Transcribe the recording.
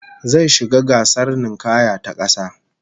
Zai shiga gasar ninkaya ta kasa